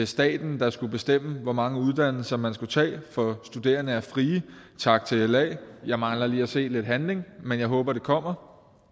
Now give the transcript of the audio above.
staten der skulle bestemme hvor mange uddannelser man skulle tage for studerende er frie tak til la jeg mangler lige at se lidt handling men jeg håber det kommer